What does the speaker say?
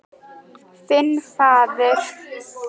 Þinn faðir.